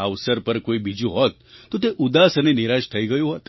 આ અવસર પર કોઈ બીજું હોત તો તે ઉદાસ અને નિરાશ થઈ ગયું હોત